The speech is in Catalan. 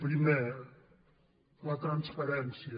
primer la transparència